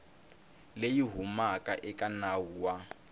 leyi humaka eka nawu wa